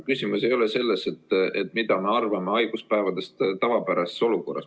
Küsimus ei ole selles, mida me arvame haiguspäevadest tavapärases olukorras.